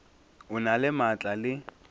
o na le maatla le